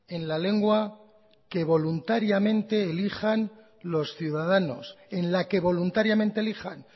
en la lengua que voluntariamente elijan los ciudadanos en la que voluntariamente elijan